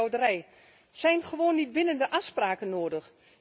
Er zijn gewoon niet bindende afspraken nodig.